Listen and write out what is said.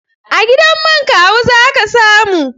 A gidan man Kawu za ka samu.